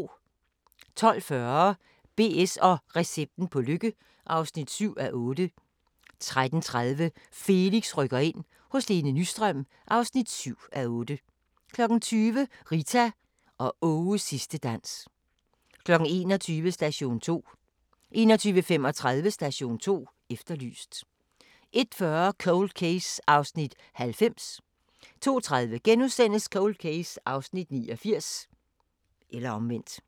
12:40: BS & recepten på lykke (7:8) 13:30: Felix rykker ind – hos Lene Nystrøm (7:8) 20:00: Rita og Aages sidste dans 21:00: Station 2 21:35: Station 2 Efterlyst 01:40: Cold Case (90:156) 02:30: Cold Case (89:156)*